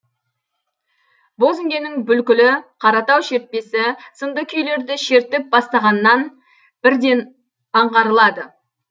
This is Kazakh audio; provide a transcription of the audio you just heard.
бозінгеннің бүлкілі қаратау шертпесі сынды күйлерді шертіп бастағаннан бірден аңғарылады